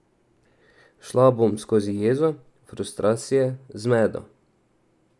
Šla bom skozi jezo, frustracije, zmedo ...